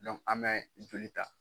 an mɛ joli ta.